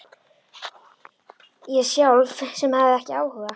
Ég sjálf sem hafði ekki áhuga.